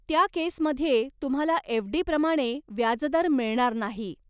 त्या केसमध्ये, तुम्हाला एफ.डी. प्रमाणे व्याजदर मिळणार नाही.